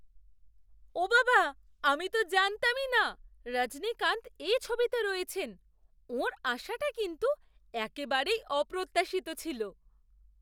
ওঃ বাবা! আমি তো জানতামই না রজনীকান্ত এই ছবিতে রয়েছেন। ওঁর আসাটা কিন্তু একেবারেই অপ্রত্যাশিত ছিল।